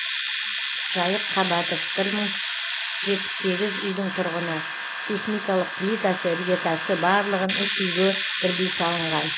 жайық қабатов бір мың жетпіс сегіз үйдің тұрғыны сейсмикалық плитасы іргетасы барлығын үш үйге бірдей салынған